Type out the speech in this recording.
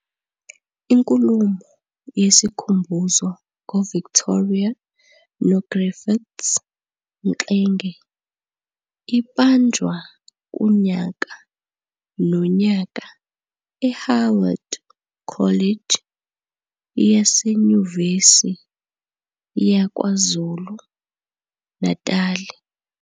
Inkulumo yesikhumbuzo ngoVictoria noGriffiths Mxenge ibanjwa kunyaka nonyaka eHoward College yaseNyuvesi yaKwaZulu Natali.